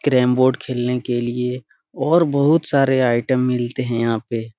Carrom board खेलने के लिए और बहोत सारे आइटम मिलते है यहाँ पे।